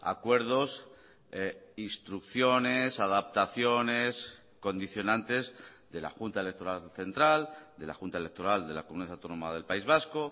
acuerdos instrucciones adaptaciones condicionantes de la junta electoral central de la junta electoral de la comunidad autónoma del país vasco